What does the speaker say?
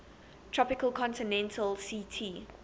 tropical continental ct